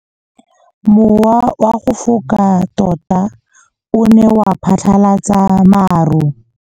Mowa o wa go foka tota o ne wa phatlalatsa maru.